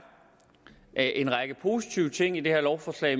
er en række positive ting i det her lovforslag